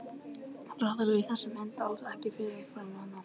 Reiðlagið á þessari mynd er alls ekki til fyrirmyndar.